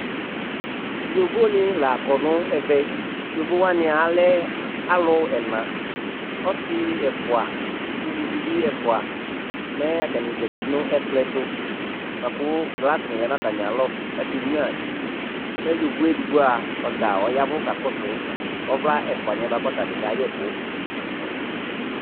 Yovonɩ la kɔ nʋ ɛvɛ Yovo wanɩ alɛ alʋ ɛna Ɔsɩ ɛfʋa, uluvi bɩ ɛfʋa Mɛ atanɩ zati nʋ ɛkplɔ yɛ tʋ bʋa kʋ glasɩnɩ lɛ nʋ atamɩalɔ kʋ akenyuǝ ti Mɛ yovo yɛ edigbo a, ɔta ɔya ɛvʋ kakɔsʋ ɔvla ɛfʋanɩ yɛ bʋa kʋ ɔta bɩ kayɛ ɛkʋ